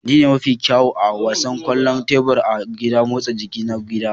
Ni ne mafi kyawu a wasan kwallon tebur a gidan motsa jiki na gida